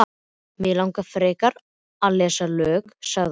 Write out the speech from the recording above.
Mig langar frekar að lesa lög, sagði hann.